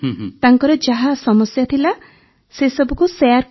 ତାଙ୍କର ଯାହା ସମସ୍ୟା ଥିଲା ସେସବୁକୁ ଶେୟାର କଲୁ